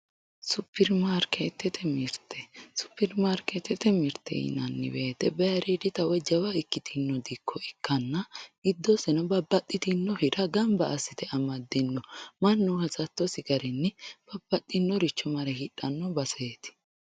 supermarkeetete mirte supermarkeetete mirteyinanni woyiite baayiiriidita woy jawa ikkitino dikko ikkanna giddoseno babbaxitino hira gamba assite amaddinno mannu hasattosi garini babbaxinnoricho mare hixanno baseeti.